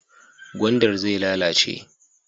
Gwandar zai lalace.